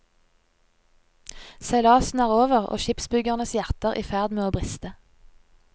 Seilasen er over, og skipsbyggernes hjerter i ferd med å briste.